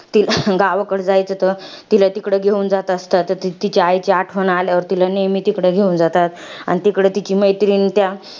तिला गावाकडं जायचं तर, तिला तिकडं घेऊन जात असतात. तर तिच्या आईची आठवण आल्यावर तिला नेहमी तिकडं घेऊन जातात. आणि तिकडं तिची मैत्रीण त्या